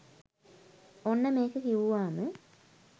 ඔන්න මේක කිවුවාම